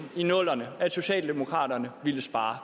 i nullerne at socialdemokraterne ville spare